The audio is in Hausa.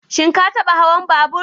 Shin ka taɓa hawan babur?